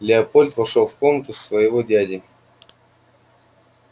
леопольд вошёл в комнату своего дяди